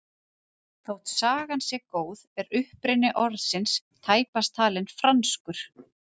Þótt sagan sé góð er uppruni orðsins tæpast talinn franskur.